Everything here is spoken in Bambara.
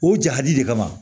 O jadi de kama